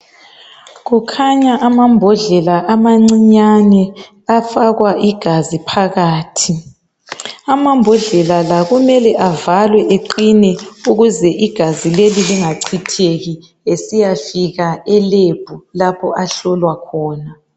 Kukhanya amambodlela amancinyane. Afakwa igazi phakathi. Amambodlela la kumele avalwe eqine. Ukuze igazi lingachitheki. Esiyafika elab, lapha ahlolwa khona.